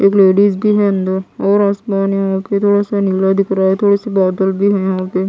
एक लेडीज़ भी है अंदर और आसमान यहाँ पे थोड़ा सा नीला दिख रहा है थोड़े से बादल भी हैं यहाँ पे।